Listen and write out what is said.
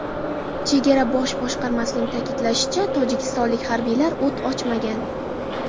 Chegara bosh boshqarmasining ta’kidlashicha, tojikistonlik harbiylar o‘t ochmagan.